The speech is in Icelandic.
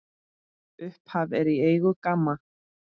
Upphaf er í eigu GAMMA.